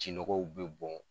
Ji nɔgɔw bɛ bɔn.